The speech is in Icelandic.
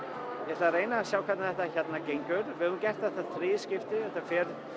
ætla að reyna að sjá hvernig þetta gengur við höfum gert þetta í þriðja skipti þetta fer